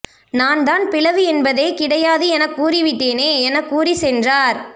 நான் தான் பிளவு என்பதே கிடையாது என கூறிவிட்டேனே என கூறி சென்றார்